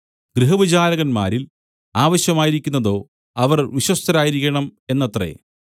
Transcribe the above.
ഗൃഹവിചാരകന്മാരിൽ ആവശ്യമായിരിക്കുന്നതോ അവർ വിശ്വസ്തരായിരിക്കണം എന്നത്രേ